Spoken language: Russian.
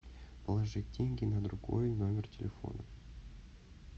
положить деньги на другой номер телефона